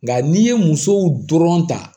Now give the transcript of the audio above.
Nga n'i ye musow dɔrɔn ta